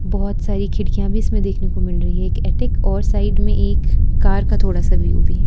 बहोत सारी खिड़कियां भी इसमें देखने को मिल रही है और साइड में एक कार का थोड़ा सा व्यू भी।